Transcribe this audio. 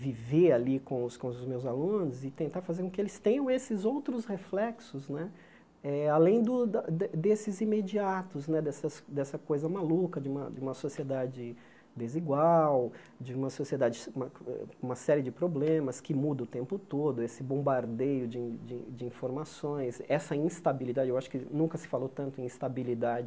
viver ali com os com os meus alunos e tentar fazer com que eles tenham esses outros reflexos né eh, além do da de desses imediatos né, dessas dessa coisa maluca de uma uma sociedade desigual, de uma sociedade com uma série de problemas que muda o tempo todo, esse bombardeio de de de informações, essa instabilidade, eu acho que nunca se falou tanto em instabilidade,